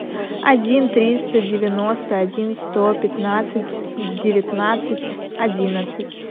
один триста девяносто один сто пятнадцать девятнадцать одиннадцать